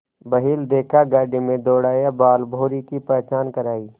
बैल देखा गाड़ी में दौड़ाया बालभौंरी की पहचान करायी